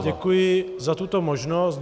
Já děkuji za tuto možnost.